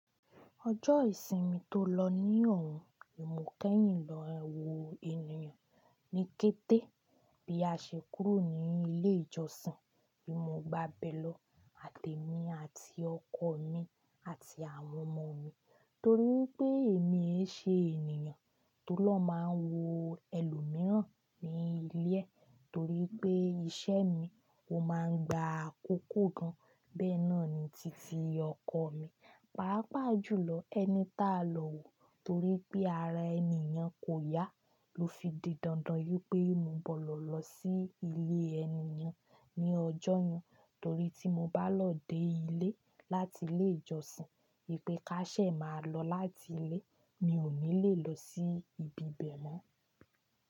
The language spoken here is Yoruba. Ọjọ́ ìsinmi tó lọ ní òhun, ni mo kẹ́yìn lọ wo ènìyàn ní kété bí a ṣe kúrò ní ilé ìjọsìn. Èmi mo gbà bẹ́ lọ àti èmi àti ọkọ mi àti àwọn ọmọ mi torí pé èmi ẹ́ ṣe ènìyàn tó lọ máa ń wo ẹlòmíràn ní ilé torí pé iṣẹ́ mi ó máa ń gba àkókò gan. Bẹ́ẹ́ náà ni titi ọkọ mi. Pàápàá jùlọ ẹni táa lọ wò torí pé ara ènìyen kò yá ló fi di dandan yí pé mo gbọ́dọ̀ lọ sí ilé ènìyàn ní ọjọ́yen torí tí mo bá lọ dé ilé láti ilé ìjọsìn yí pé ká ṣe máa lọ láti ilé mi ò ní le lọ sí ibi bẹ̀ mọ́.